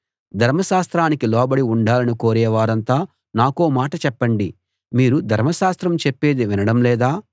ధర్మశాస్త్రానికి లోబడి ఉండాలని కోరే వారంతా నాకో మాట చెప్పండిమీరు ధర్మశాస్త్రం చెప్పేది వినడం లేదా